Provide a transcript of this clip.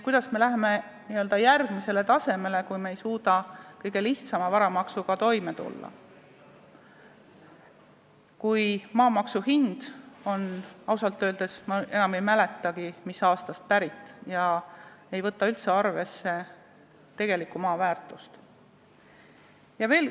Kuidas me läheme n-ö järgmisele tasemele, kui me ei suuda kõige lihtsama varamaksuga toime tulla, kui maamaksu hind on ausalt öeldes, ma enam ei mäletagi, mis aastast pärit ega võta üldse arvesse tegelikku maa väärtust?